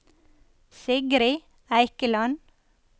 Sigrid Eikeland